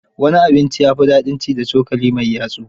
Wani abinci ya fi dadin ci da cokali mai yatsu.